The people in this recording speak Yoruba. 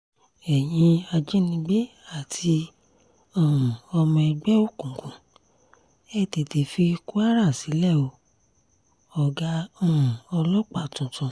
ẹ̀yin ajínigbé àti um ọmọ ẹgbẹ́ òkùnkùn ẹ̀ tètè fi kwara sílẹ̀ o -ọ̀gá um ọlọ́pàá tuntun